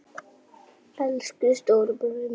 Elsku stóri bróðir minn.